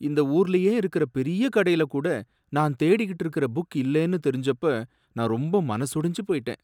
இந்த ஊருலையே இருக்கற பெரிய கடையில கூட நான் தேடிகிட்டு இருந்த புக் இல்லேன்னு தெரிஞ்சப்ப நான் ரொம்ப மனசொடிஞ்சி போய்ட்டேன்.